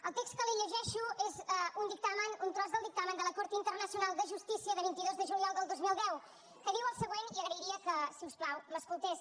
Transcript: el text que li llegeixo és un dictamen un tros del dictamen de la cort internacional de justícia de vint dos de juliol del dos mil deu que diu el següent i agrairia que si us plau m’escoltés